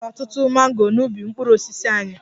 E nwere ọtụtụ mango n'ubi mkpụrụ osisi anyị